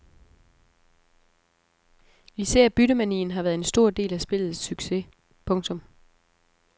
Især byttemanien har været en stor del af spillets succes. punktum